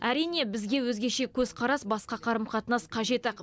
әрине бізге өзгеше көзқарас басқа қарым қатынас қажет ақ